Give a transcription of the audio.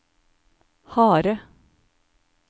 harde